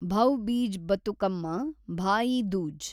Bhaubeej Bathukamma, Bhai Dooj